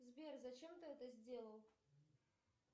сбер зачем ты это сделал